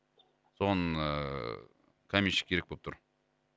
соны ыыы каменщик керек болып тұр